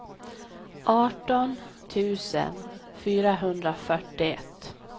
arton tusen fyrahundrafyrtioett